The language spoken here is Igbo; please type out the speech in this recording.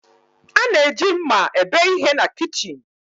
A na-eji mma ebe ihe na kichin.